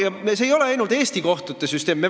Ja see ei ole ainult Eesti kohtute süsteem.